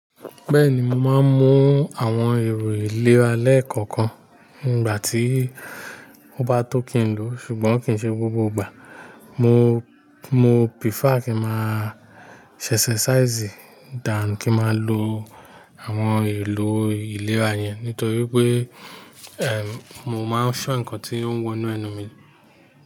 Bẹ́ẹ̀ni, mo máa ń mu àwọn èrò ìlera lẹ́kọ̀ọ̀kan nígbà tí mo bá tó kí n lò, ṣùgbọ́n kìí ṣe gbogbo ìgbà. Mo, mo prefer kí n máa ṣe exercise than kí n máa lo àwọn èlò ìlera yẹn nítorí pé, ẹm, mo máa n fẹ́ nǹkan tí ó ń wọnú ẹnu mi.